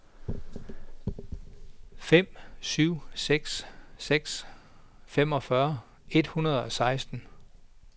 fem syv seks seks femogfyrre et hundrede og seksten